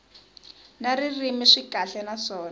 na ririmi swi kahle naswona